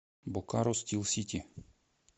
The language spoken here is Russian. бокаро стил сити